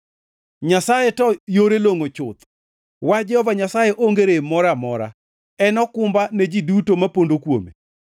Nyasaye to yore longʼo chuth; wach Jehova Nyasaye onge rem moro amora. En okumba ne ji duto ma pondo kuome.